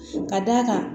Ka d'a kan